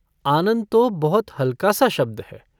आनन्द तो बहुत हल्का सा शब्द है।